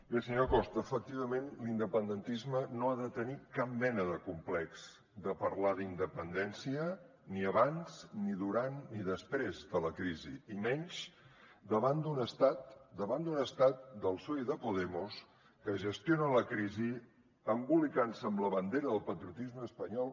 bé senyor costa efectivament l’independentisme no ha de tenir cap mena de complex de parlar d’independència ni abans ni durant ni després de la crisi i menys davant d’un estat davant d’un estat del psoe i de podemos que gestiona la crisi embolicant se amb la bandera del patriotisme espanyol